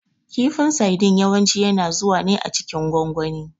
Kifin sadin yawanci yana zuwa ne a cikin gwangwani.